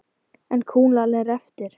En kúlan er eftir.